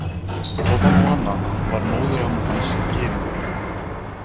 Ofan á annað var móðuramma hans gyðingur.